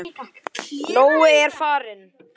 Nói er farinn.